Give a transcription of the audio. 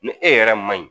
Ni e yɛrɛ man ɲi